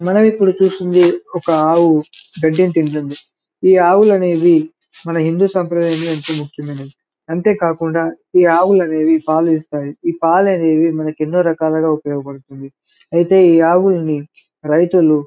మనం ఇప్పుడు చూస్తుంది ఒక ఆవు గడ్డిని తింటుంది ఈ ఆవులనేవి మన హిందూ సంప్రదాయంలో ఎంతో ముఖ్యమైనవి అంతే కాకుండా ఈ ఆవులనేవి పాలునిస్తాయి ఈ పాలు అనేవి మంకు ఎన్నో రకాలుగా ఉపయోగ పడుతుంది ఐతే ఈ ఆవుల్ని రైతులు --